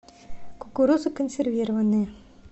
кукуруза консервированная